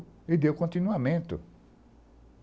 E deu continuamento.